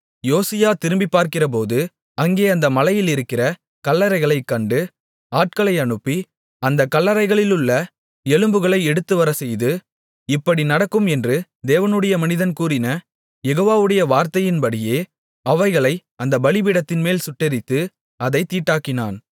யோசியா திரும்பிப்பார்க்கிறபோது அங்கே அந்த மலையிலிருக்கிற கல்லறைகளைக் கண்டு ஆட்களை அனுப்பி அந்தக் கல்லறைகளிலுள்ள எலும்புகளை எடுத்துவரச்செய்து இப்படி நடக்கும் என்று தேவனுடைய மனிதன் கூறின யெகோவாவுடைய வார்த்தையின்படியே அவைகளை அந்தப் பலிபீடத்தின்மேல் சுட்டெரித்து அதைத் தீட்டாக்கினான்